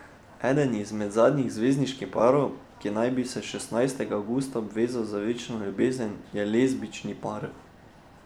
Eden izmed zadnjih zvezdniških parov, ki naj bi se šestnajstega avgusta obvezal na večno ljubezen je lezbični par.